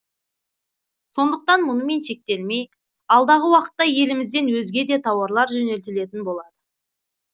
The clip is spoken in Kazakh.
сондықтан мұнымен шектелмей алдағы уақытта елімізден өзге де тауарлар жөнелтілетін болады